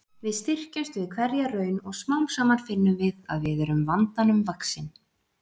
Við styrkjumst við hverja raun og smám saman finnum við að við erum vandanum vaxin.